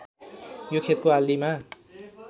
यो खेतको आलीमा